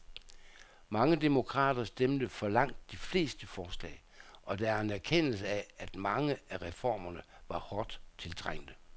Mange demokrater stemte for langt de fleste forslag, og der er en erkendelse af, at mange af reformerne var hårdt tiltrængte.